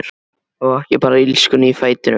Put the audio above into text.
Og ekki bara illskunni í fætinum!